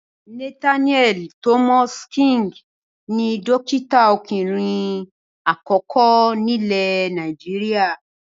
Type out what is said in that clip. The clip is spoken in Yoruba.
Nathaniel Thomas King ni dọ́kítá ọkùnrin àkọ́kọ́ nílẹ̀ Nàìjíríà.